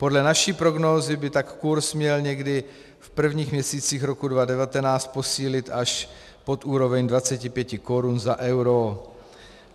Podle naší prognózy by tak kurz měl někdy v prvních měsících roku 2019 posílit až pod úroveň 25 korun za euro.